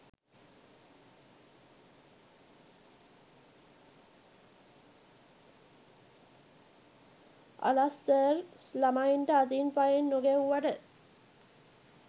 අලස් sir ළමයින්ට අතින් පයින් නොගැහුවට